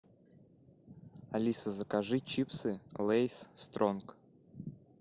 алиса закажи чипсы лейс стронг